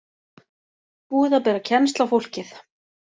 Búið að bera kennsl á fólkið